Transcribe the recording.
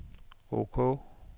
ok